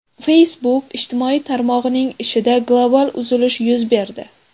Facebook ijtimoiy tarmog‘ining ishida global uzilish yuz berdi.